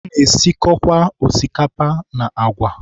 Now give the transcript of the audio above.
Ana-esikọkwa osikapa and agwa.